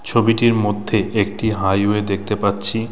ছবিটির মধ্যে একটি হাইওয়ে দেখতে পাচ্ছি।